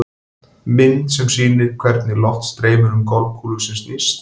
Mynd sem sýnir hvernig loft streymir um golfkúlu sem snýst.